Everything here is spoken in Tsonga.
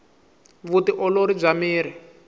vu ti olori bya miri